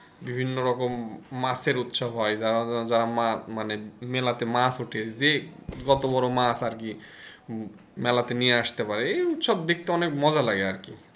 বিভিন্ন রকম মাছের উৎসব হয় যারা যারা মা~মানে মেলাতে মাছ ওঠে যে যত বড় মাছ আর কি মেলাতে নিয়ে আসতে পারে এই উৎসব দেখতে অনেক মজা লাগে আর কি।